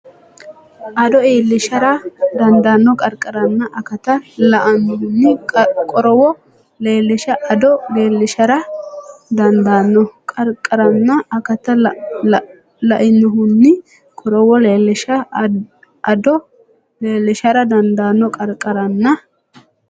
addo iillishara dandaanno qarqaranna akata lainohunni qorowo leellisha addo iillishara dandaanno qarqaranna akata lainohunni qorowo leellisha addo iillishara dandaanno qarqaranna.